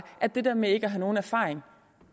at det der med ikke har nogen erfaring